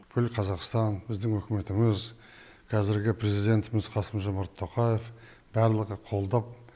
бүкіл қазақстан біздің үкіметіміз қазіргі президентіміз қасым жомарт тоқаев барлығы қолдап